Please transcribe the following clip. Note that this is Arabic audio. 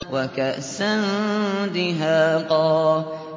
وَكَأْسًا دِهَاقًا